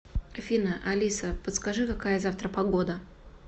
афина алиса подскажи какая завтра погода